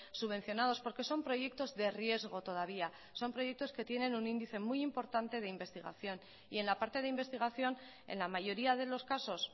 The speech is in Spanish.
subvencionados porque son proyectos de riesgo todavía son proyectos que tienen un índice muy importante de investigación y en la parte de investigación en la mayoría de los casos